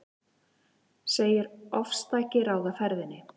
Segir ofstæki ráða ferðinni